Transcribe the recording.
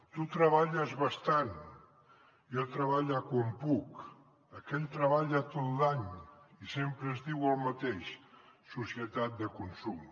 tu treballes bastant jo treballe quan puc aquell treballa tot l’any i sempre es diu el mateix societat de consum